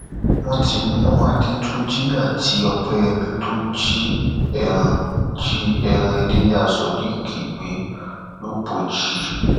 wọn ti mú adétúnjì àti ọpẹyẹmí tó jí ẹran jí ẹran ilẹyà sodiq gbé lọpọjì